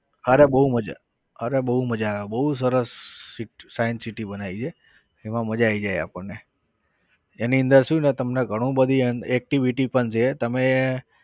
અરે બહુ મજા અરે બહુ મજા આવે બહુ સરસ city science city બનાવી છે એમાં મજા આવી જાય આપણને એની અંદર શું તમને ગણુ બધી activity પણ રહે તમે